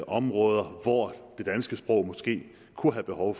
områder hvor det danske sprog måske kunne have behov